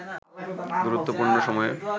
গুরুত্বপূর্ণ সময়ে